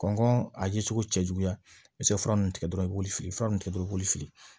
Kɔnkɔn a ye cogo cɛ juguya i be se ka fura ninnu tigɛ dɔrɔn i b'olu fili fura nunnu kɛ dɔrɔn i b'olu fili